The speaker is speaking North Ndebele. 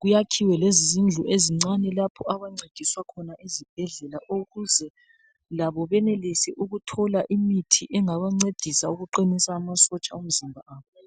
kuyakhiwe lezindlu ezincane lapho abantwana abancediswa khona ezibhedlela ukuze labo benelise ukuthola imithi engabancedisa ukuqinisa amasotsha omzimba wabo